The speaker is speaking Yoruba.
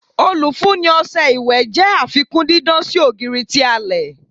Olufunni ọṣẹ iwẹ jẹ afikun didan si ogiri ti alẹ